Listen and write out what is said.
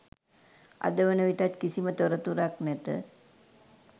අද වන විටත් කිසිම තොරතුරක් නැත.